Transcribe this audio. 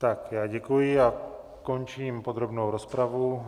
Tak já děkuji a končím podrobnou rozpravu.